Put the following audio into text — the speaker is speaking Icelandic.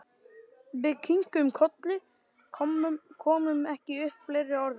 Og við kinkuðum kolli, komum ekki upp fleiri orðum.